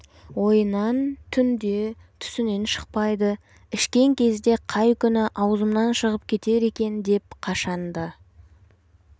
ойынан түнде түсінен шықпайды ішкен кезде қай күні аузымнан шығып кетер екен деп қашан да